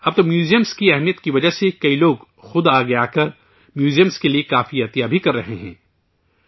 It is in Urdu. اب تو، میوزیم کی اہمیت کی وجہ سے، کئی لوگ، خود آگے آکر، میوزیم کے لیے کافی عطیہ بھی کر رہے ہیں